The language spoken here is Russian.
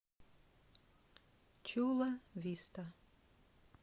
чула виста